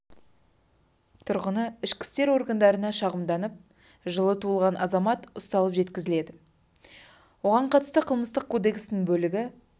тұрғыны ішкі істер органдарына шағымданып жылы туылған азамат ұсталып жеткізілді оған қатысты қылмыстық кодексінің бөлігі